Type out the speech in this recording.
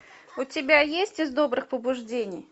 у тебя есть из добрых побуждений